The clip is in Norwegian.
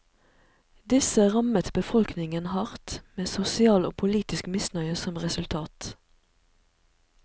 Disse rammet befolkningen hardt, med sosial og politisk misnøye som resultat.